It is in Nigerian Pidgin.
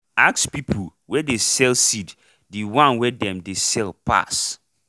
ask people wey dey sell seed the one wey dem dey sell pass